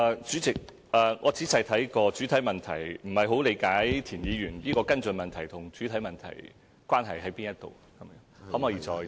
主席，我已仔細看過主體質詢，但不大理解田議員的補充質詢與主體質詢有何關係。